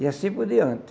E assim por diante.